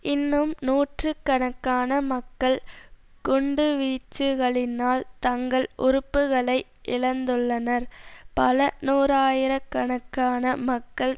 இன்னும் நூற்று கணக்கான மக்கள் குண்டுவீச்சுகளினால் தங்கள் உறுப்புக்களை இழந்துள்ளனர் பல நூறாயிர கணக்கான மக்கள்